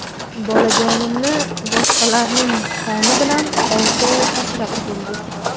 Bolajonimni boshqalarning qoni bilan olti oy asrab keldik.